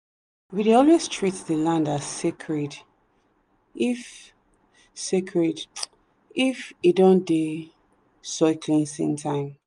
we dey always treat the land as sacred if sacred if e don dey soil cleansing time.